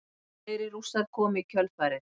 Fleiri Rússar komu í kjölfarið.